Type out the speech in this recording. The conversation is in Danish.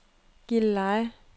Gilleleje